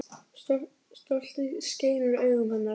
Stoltið skein úr augum hennar.